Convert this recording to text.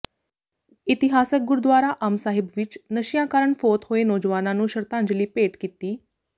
ਇਤਿਹਾਸਕ ਗੁਰਦੁਆਰਾ ਅੰਬ ਸਾਹਿਬ ਵਿੱਚ ਨਸ਼ਿਆਂ ਕਾਰਨ ਫੌਤ ਹੋਏ ਨੌਜਵਾਨਾਂ ਨੂੰ ਸ਼ਰਧਾਂਜਲੀ ਭੇਟ ਕੀਤੀ